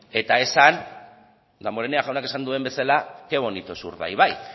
eta esan damborenea jaunak esan duen bezala qué bonito es urdaibai